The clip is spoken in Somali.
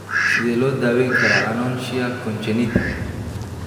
Sidee loo daweyn karaa anonychia congenita?